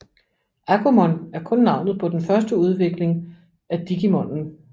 Agumon er kun navnet på den første udvikling af Digimonen